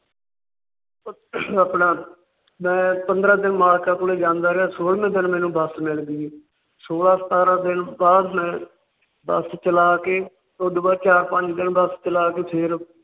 ਆਪਣਾ ਮੈ ਪੰਦਰਾਂ ਦਿਨ ਮਾਲਕਾਂ ਕੋਲ ਜਾਂਦਾ ਰਿਹਾ ਸੋਲ੍ਹਵੇਂ ਦਿਨ ਮੈਨੂੰ ਬੱਸ ਮਿਲ ਗਈ। ਸੋਲ੍ਹਾਂ ਸਤਾਰਾ ਦਿਨ ਬਾਅਦ ਮੈ ਬੱਸ ਚਲਾ ਕੇ ਉਸ ਤੋਂ ਬਾਅਦ ਚਾਰ ਪੰਜ ਦਿਨ ਬੱਸ ਚਲਾ ਕੇ ਫੇਰ